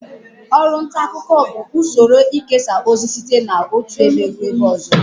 Ọru nta akuko bu usoro ikesa ozi site n'otu ebe rue ebe ozo